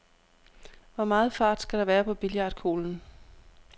Hvor meget fart skal der være på billiardkuglen?